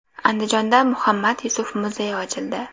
Andijonda Muhammad Yusuf muzeyi ochildi.